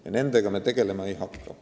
Ja nendega me tegelema ei hakka.